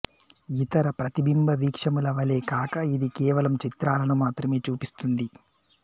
ఇతర ప్రతిబింబ వీక్షముల వలె కాక ఇది కేవలం చిత్రాలను మాత్రమే చూపిస్తుంది